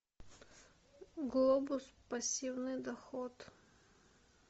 глобус пассивный доход